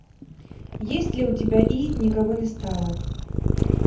есть ли у тебя и никого не стало